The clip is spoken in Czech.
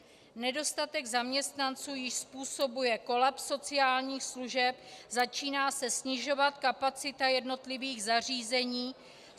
Nedostatek zaměstnanců již způsobuje kolaps sociálních služeb, začíná se snižovat kapacita jednotlivých zařízení.